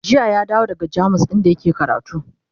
jiya ya dawo daga jamus inda yake karatu